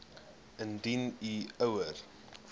indien u ouer